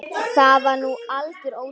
Það var nú algjör óþarfi.